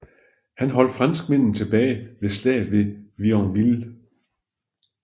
Han holdt franskmændene tilbage ved slaget ved Vionville